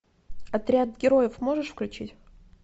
отряд героев можешь включить